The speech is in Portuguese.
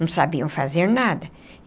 Não sabiam fazer nada.